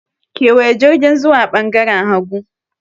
Kewaya jirgin zuwa ɓangaren hagu.